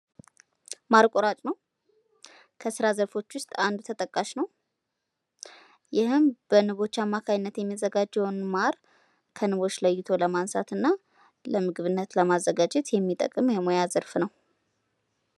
ማር ቆራጭ ነው። ከስራ ዘርፎች ውስጥ አንዱ ተጠቃሽ ነው። ይህም በንቦች አማካኝነት የሚዘጋጀውን ማር ከንቦች ለይቶ ለማንሳትና ለምግብነት ለማዘጋጀት የሚጠቅም የሙያ ዘርፍ ነው።